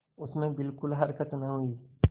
उसमें बिलकुल हरकत न हुई